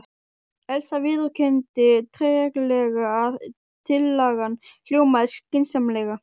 Elsa viðurkenndi treglega að tillagan hljómaði skynsamlega.